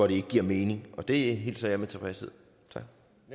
ikke giver mening og det hilser jeg med tilfredshed tak